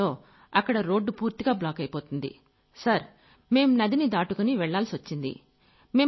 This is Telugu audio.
పడుతుందో అక్కడ రోడ్డు పూర్తిగా బ్లాకైపోతుంది | సార్ మేం నదిని దాటుకుని వెళ్లాల్సొచ్చింది |